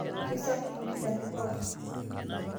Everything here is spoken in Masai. Keisafi nkilani pookin.